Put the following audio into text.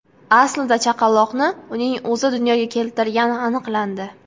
Aslida chaqaloqni uning o‘zi dunyoga keltirgani aniqlandi.